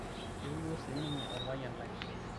eeu duo sininye olpayian lai